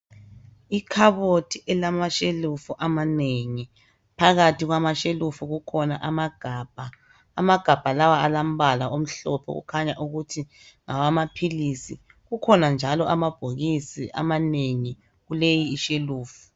Ikhabothi elamashelufu amanengi phakathi kwamashelufu kukhona amagabha, amagabha lawa alambala omhlophe okhanya ukuthi ngawamaphilisi kukhona njalo amabhokisi amanengi kuleyishelufu.